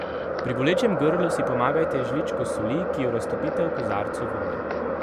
Pri bolečem grlu si pomagajte z žličko soli, ki jo raztopite v kozarcu vode.